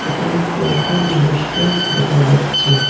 এখানে কয়েকজন মানুষকে দেখা যাচ্ছে।